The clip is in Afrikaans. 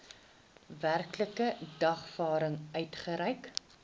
werklike dagvaarding uitgereik